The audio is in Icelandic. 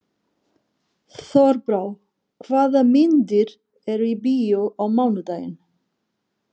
Þorbrá, hvaða myndir eru í bíó á mánudaginn?